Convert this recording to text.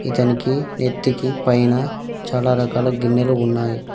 ఇతనికి నెత్తికి పైన చాలా రకాల గిన్నెలు ఉన్నాయి.